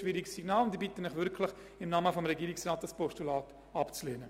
Ich bitte Sie deshalb im Namen des Regierungsrats, dieses Postulat abzulehnen.